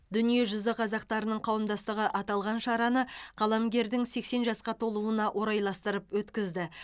дүние жүзі қазақтарының қауымдастығы аталған шараны қаламгердің сексен жасқа толуына орайластырып өткізді